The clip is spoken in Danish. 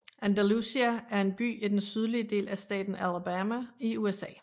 Andalusia er en by i den sydlige del af staten Alabama i USA